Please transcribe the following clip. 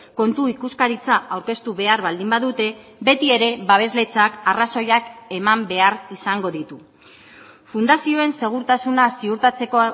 kontu ikuskaritza aurkeztu behar baldin badute beti ere babesletzak arrazoiak eman behar izango ditu fundazioen segurtasuna ziurtatzeko